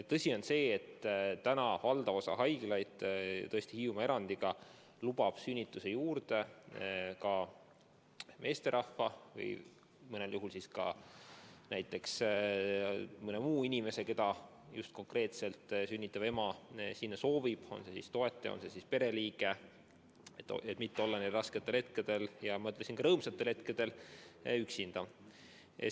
Tõsi on see, et valdav osa haiglaid, tõesti vaid Hiiumaa erandiga, lubab sünnituse juurde ka meesterahva, mõnel juhul ka mõne muu inimese, keda sünnitav ema sinna soovib – on see pereliige, on see mõni mu toetaja –, et mitte olla nendel rasketel hetkedel, aga ma ütleksin, ka rõõmsatel hetkedel üksinda.